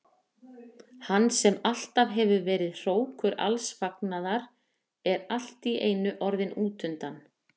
Hann sem alltaf hefur verið hrókur alls fagnaðar er allt í einu orðinn útundan.